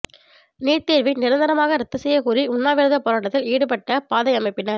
NEET தேர்வை நிரந்தரமாக ரத்து செய்யக் கோரி உண்ணாவிரதப் போராட்டத்தில் ஈடுபட்ட பாதை அமைப்பினர்